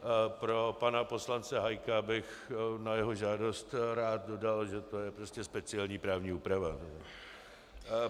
Pro pana poslance Hájka bych na jeho žádost rád dodal, že to je prostě speciální právní úprava.